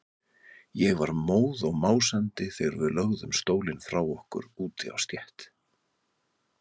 Ég var móð og másandi þegar við lögðum stólinn frá okkur úti á stétt.